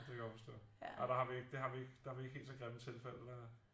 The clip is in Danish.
Ja det kan jeg godt forstå nej der har vi ikke det der har vi ikke helt så grimme tilfælde